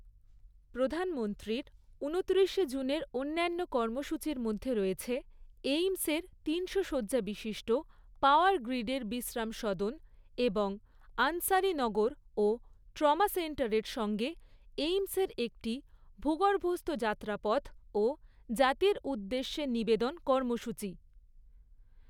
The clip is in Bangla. প্রধানমন্ত্রীর ঊনত্রিশে জুনের অন্যান্য কর্মসূচির মধ্যে রয়েছে এইম্সের তিনশো শয্যাবিশিষ্ট পাওয়ার গ্রিডের বিশ্রাম সদন এবং আনসারিনগর ও ট্রমা সেন্টারের সঙ্গে এইম্সের একটি ভূগর্ভস্থ যাত্রাপথ ও জাতির উদ্দেশ্যে নিবেদন কর্মসূচি।